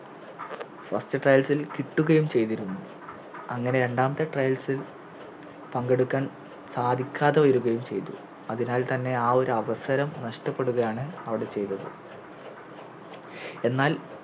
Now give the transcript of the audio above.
First trails ഇൽ കിട്ടുകയും ചെയ്തിരുന്നു അങ്ങനെ രണ്ടാമത്തെ Trails ഇൽ പങ്കെടുക്കാൻ സാധിക്കാതെ വരുകയും ചെയ്തു അതിനാൽ തന്നെ ആ ഒരവസരം നഷ്ട്ടപ്പെടുകയാണ് അവിടെ ചെയ്തത് എന്നാൽ